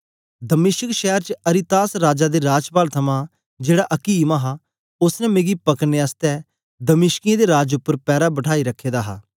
दमिश्क शैर च अरितास राजा दे राजपाल थमां जेड़ा अकीम हा ओसने मिकी पकड़ने आसतै दमिश्कियें दे राज उपर पैरा बठाई रखे दा हा